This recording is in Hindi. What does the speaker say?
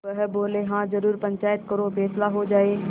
वह बोलेहाँ जरूर पंचायत करो फैसला हो जाय